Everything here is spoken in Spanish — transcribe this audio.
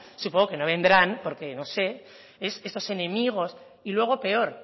yo creo que no vendrán porque no sé es esos enemigos y luego peor